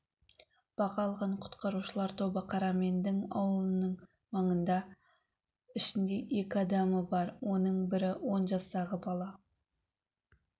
бағы алған құтқарушылар тобы қарамендің ауылының маңында ішінде екі адамы оның бірі он жастағы бала